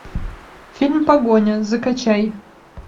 фильм погоня закачай